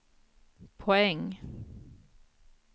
poäng